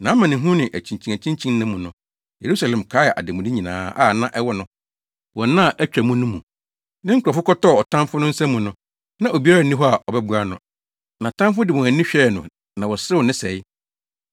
Nʼamanehunu ne akyinkyinakyinkyin nna mu no, Yerusalem kae ademude nyinaa a na ɛwɔ no wɔ nna a atwa mu no mu. Ne nkurɔfo kɔtɔɔ ɔtamfo no nsa mu no, na obiara nni hɔ a ɔbɛboa no. Nʼatamfo de wɔn ani hwɛɛ no na wɔserew ne sɛe.